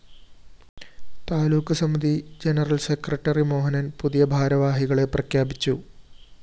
താലൂക്ക് സമിതി general secretary Mohanan‍ പൂതിയ ഭാരവാഹികളെ പ്രഖ്യാപിച്ചു